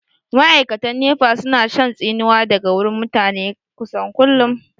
Ma'aikatan nefa su na shan tsinuwa daga wurin mutane kusan kullum